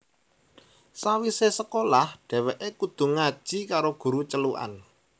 Sawise sekolah dheweke kudu ngaji karo guru celukan